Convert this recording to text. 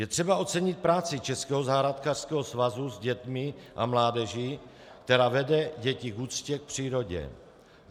Je třeba ocenit práci Českého zahrádkářského svazu s dětmi a mládeží, která vede děti k úctě k přírodě.